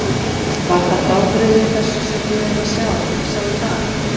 Var það frábrugðið þessu sem við erum að sjá, sjá í dag?